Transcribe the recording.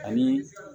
Ani